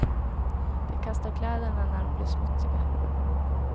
De kastar kläderna när de blir smutsiga.